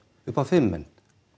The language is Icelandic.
upp á fimm menn